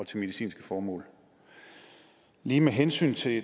til medicinske formål lige med hensyn til